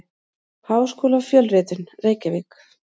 Háskólafjölritun: Reykjavík.